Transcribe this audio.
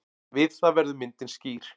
Við það verður myndin skýr.